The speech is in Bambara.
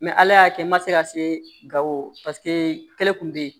Mɛ ala y'a kɛ n ma se ka se gawo paseke kɛlɛ kun bɛ ye